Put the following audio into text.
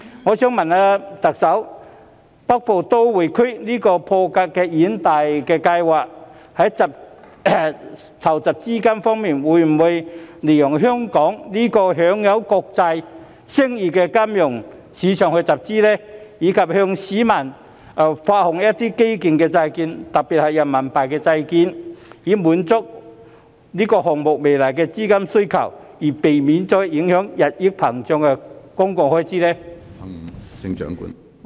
我想問特首，北部都會區這項破格的遠大計劃，在籌集資金方面會否利用香港這個享有國際聲譽的金融市場去集資，以及向市民發行基建債券，特別是人民幣債券，以滿足這項目未來的資金需求，避免日益膨脹的公共開支受到影響？